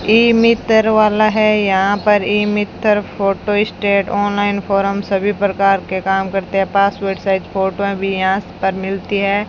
ई मित्र वाला है यहां पर e Mitra photo stat online form सभी प्रकार के काम करते हैं पासपोर्ट साइज फोटो भी यहां पर मिलती है।